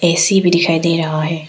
AC भी दिखाई दे रहा है।